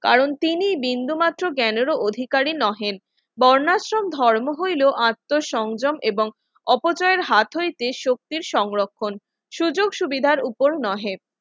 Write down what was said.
কারণ তিনি বিন্দুমাত্র জ্ঞানেরও অধিকারী নহে বর্ণাশ্রম ধর্ম হইল আত্মসংযম এবং অপচয়ের হাত হইতে শক্তির সংরক্ষণ সুযোগ সুবিধার উপর নহে।